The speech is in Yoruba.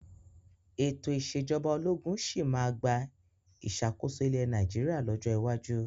Ètò ìsèjọba ológun sì máa gba ìṣàkóso ilẹ̀ Nàìjíríà lọ́jọ́ iwájú.